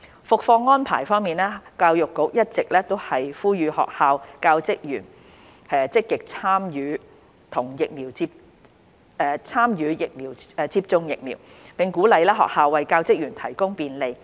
復課安排教育局一直呼籲學校教職員積極參與接種疫苗，並鼓勵學校為教職員提供便利。